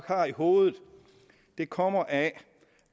har i hovedet kommer af